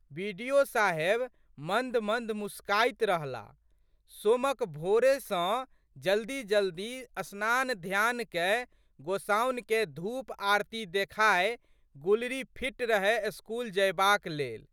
बि.डि.ओ.साहेब मन्दमन्द मुसकाइत रहलाह। सोमक भोरे सँ जल्दीजल्दी स्नानध्यान कए, गोसाउनिकेँ धूप आरती देखाए गुलरी फिट रहए स्कूल जयबाक लेल।